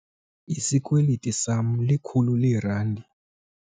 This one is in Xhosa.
Isikweliti sama likhulu leerandi.